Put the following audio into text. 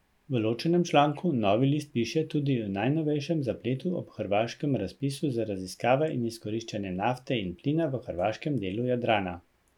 V ločenem članku Novi list piše tudi o najnovejšem zapletu ob hrvaškem razpisu za raziskave in izkoriščanje nafte in plina v hrvaškem delu Jadranu.